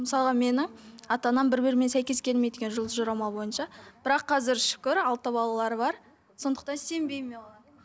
мысалға менің ата анам бір бірімен сәйкес келмейді өйткені жұлдыз жорамал бойынша бірақ қазір шүкір алты балалары бар сондықтан сенбеймін мен оған